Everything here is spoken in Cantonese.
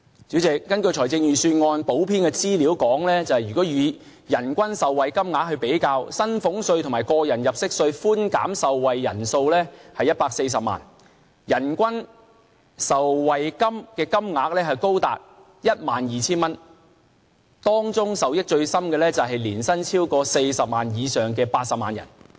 主席，根據預算案補編的資料顯示，如以人均受惠金額來比較，薪俸稅和個人入息稅的寬減受惠人數是140萬，人均受惠金額高達 12,000 元，當中受益最深的是年薪超過40萬元以上的80萬人。